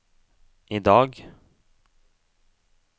idag